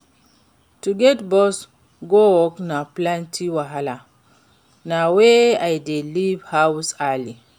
To get bus go work na plenty wahala, na why i dey leave house early.